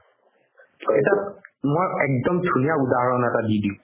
এটা মই একদম ধূনীয়া উদাহৰণ এটা দি দিও